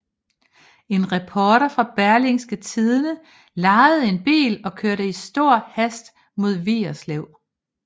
En reporter fra Berlingske Tidende lejede en bil og kørte i stor hast mod Vigerslev